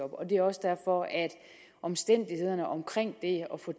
det er også derfor at omstændighederne omkring det at få